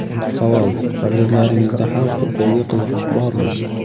Savol: Farzandlaringizda ham futbolga qiziqish bormi?